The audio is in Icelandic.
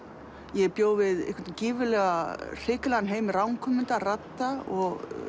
ég bjó við gífurlega hrikalegan heim ranghugmynda radda og